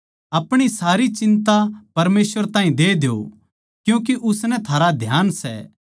अपणी सारी चिन्ता परमेसवर ताहीं दे द्यो क्यूँके उसनै थारा ध्यान सै